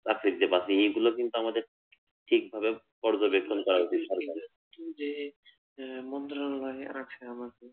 চাকরি যে পাচ্ছেনা এইগুলো কিন্তু আমাদের ঠিকভাবে পর্যবেক্ষন করা উচিত সরকারের, যে আহ মন্তব্য গুলা আছে আমাদের